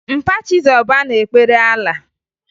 Mpa Chizọba na-ekpere Alaa